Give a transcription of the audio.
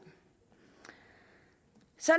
så